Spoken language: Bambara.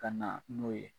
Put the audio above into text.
Ka na n'o ye